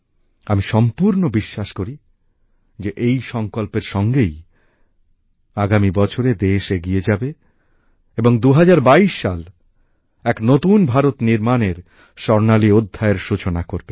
আমি সম্পুর্ণ বিশ্বাস করি যে এই সংকল্পের সঙ্গেই আগামী বছরে দেশ এগিয়ে যাবে এবং ২০২২ সাল এক নতুন ভারত নির্মাণের স্বর্ণালী অধ্যায়ের সূচনা করবে